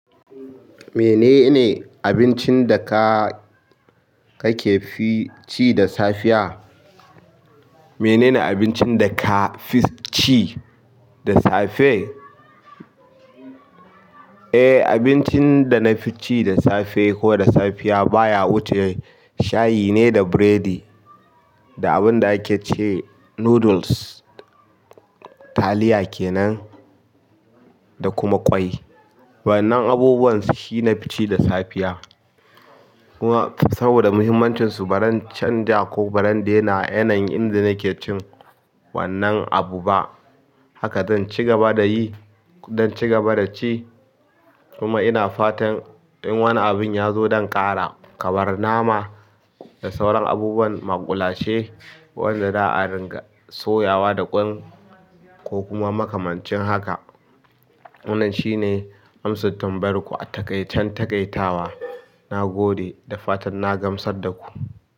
Menene abincin da ka, kake fi ci da safiya? Menene abincin da ka fi ci da safe? Eh, abincin da na fi ci da safe ko da safiya baya wuce shayi ne da biredi, da abun da ake ce noodles, taliya kenan da kuma ƙwai. Wannan abubuwan shi nafi ci da safiya. Kuma saboda muhimmancinsu baran canja ko baran daina yanayin inda nake cin wannan abu ba. Hala zan cigaba da yi, kuma in cigaba da ci, kuma ina fatan in wani abin ya zo dan ƙara, kamar nama da sauran abubuwan maƙulashe, wanda za a ringa soyawa da ƙwai ko kuma makamancin haka. Wannan shine amsar tambayar ku a taƙaicen taƙaitawa. Na gode da fatan na gamsar da ku.